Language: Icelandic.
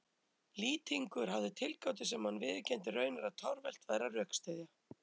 Lýtingur hafði tilgátu sem hann viðurkenndi raunar að torvelt væri að rökstyðja.